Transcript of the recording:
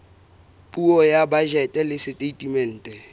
puo ya bajete le setatemente